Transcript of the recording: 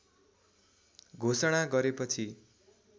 घोषणा गरेपछि